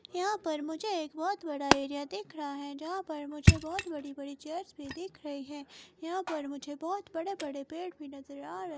यहां पर मुझे एक बहोत बड़ा एरिया दिख रहा है जहां पर मुझे बहोत बड़ी बड़ी चेयर्स भी दिख रही है यहां पर मुझे बहोत बड़े बड़े पेड़ भी नजर आ रहे--